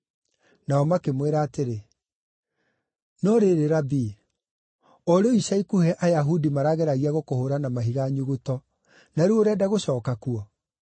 Nao makĩmwĩra atĩrĩ, “No rĩrĩ Rabii, o rĩu ica ikuhĩ Ayahudi marageragia gũkũhũũra na mahiga nyuguto, na rĩu ũrenda gũcooka kuo?”